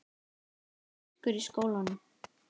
Það er myrkur í skólanum.